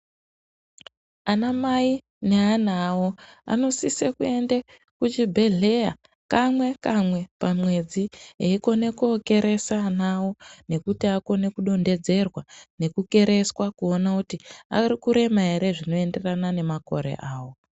Anamai neana awo anosise kuenda kuchibhedhleya kamwe kamwe pamwedzi eikone kokeresa ana awo nekuti akone kudonhedzerwa nekukereswa kuona kuti arikurema ere zvinoenderana nemakore awo.